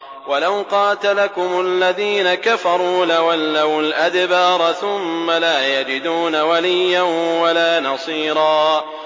وَلَوْ قَاتَلَكُمُ الَّذِينَ كَفَرُوا لَوَلَّوُا الْأَدْبَارَ ثُمَّ لَا يَجِدُونَ وَلِيًّا وَلَا نَصِيرًا